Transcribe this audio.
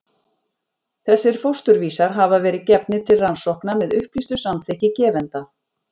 Þessir fósturvísar hafa verið gefnir til rannsókna með upplýstu samþykki gefenda.